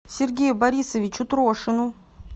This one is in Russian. сергею борисовичу трошину